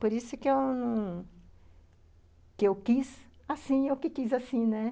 Por isso que eu não... que eu quis, assim, eu que quis assim, né.